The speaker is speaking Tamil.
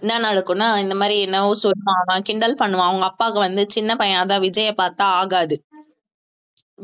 என்ன நடக்கும்னா இந்த மாதிரி என்னமோ சொல்லுவான் அவன் கிண்டல் பண்ணுவான் அவங்க அப்பாவுக்கு வந்து சின்ன பையன் அதான் விஜயை பார்த்தா ஆகாது